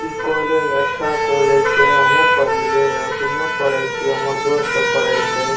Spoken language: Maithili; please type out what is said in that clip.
इ कॉलेज अच्छा कॉलेज छै हमहु पढ़ लिए अखनियो पढ़ेय छै हमर दोस्त सब पढ़ई छै।